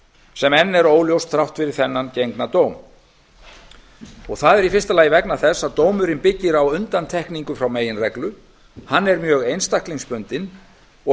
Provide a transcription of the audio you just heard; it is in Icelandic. sem enn er óljóst þrátt fyrir þennan gengna dóm það er í fyrsta lagi vegna þess að dómurinn byggir á undantekningu frá meginreglu hann er mjög einstaklingsbundinn og